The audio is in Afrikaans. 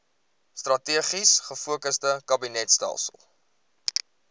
strategies gefokusde kabinetstelsel